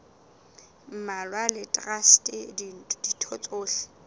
mmalwa le traste ditho tsohle